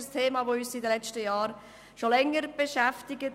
Dieses Thema hat uns in den letzten Jahren schon länger beschäftigt.